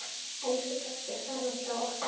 Elsku pabbi farinn frá okkur.